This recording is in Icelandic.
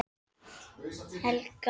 Helga: Ertu búin að knúsa marga í dag?